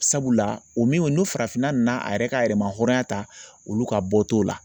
Sabula o min farafinna nana a yɛrɛ ka yɛrɛma hɔrɔnya ta olu ka bɔ t'o la